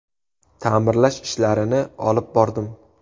Ta’mirlash ishlarini olib bordim.